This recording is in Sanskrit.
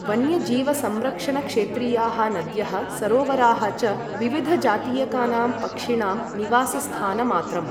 वन्यजीवसंरक्षणक्षेत्रीयाः नद्यः, सरोवराः च विविधजातीयकानां पक्षिणां निवासस्थानमात्रम्।